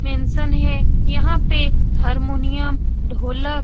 mention है यहाँ पे हारमोनियम ढोलक --